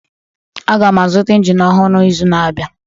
Aga m azụta injin ọhụrụ n'izu na-abịa